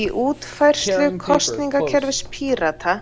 Í útfærslu kosningakerfis Pírata